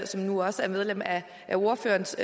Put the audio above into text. som nu også er medlem af ordførerens